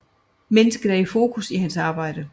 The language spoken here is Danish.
Mennesket er i fokus i hans arbejde